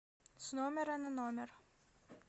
с номера на номер